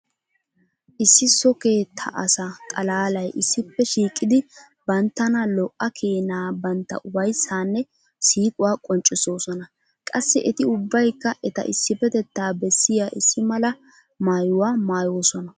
Issi so keettaa asa xalaalay issippe shiiqidi banttana lo'a keenaa bantta ufayssaanne siiquwa qonncissoosona. Qassi eti ubbaykka eta issippetettaa bessiya issi mala maayuwa maayoosona.